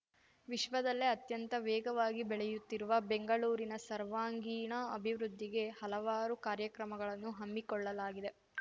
ವಿಶ್ವದಲ್ಲೇ ಅತ್ಯಂತ ವೇಗವಾಗಿ ಬೆಳೆಯುತ್ತಿರುವ ಬೆಂಗಳೂರಿನ ಸರ್ವಾಂಗೀಣ ಅಭಿವೃದ್ಧಿಗೆ ಹಲವಾರು ಕಾರ್ಯಕ್ರಮಗಳನ್ನು ಹಮ್ಮಿಕೊಳ್ಳಲಾಗಿದೆ